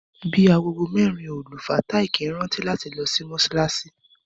Bí agogo mérin òlù, Fàtáì kíí rántí láti lo sí Mósálaṣí.